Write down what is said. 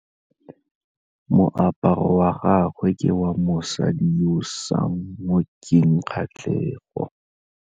Moaparô wa gagwe ke wa mosadi yo o sa ngôkeng kgatlhegô.